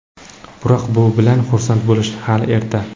Biroq bu bilan xursand bo‘lishga hali erta.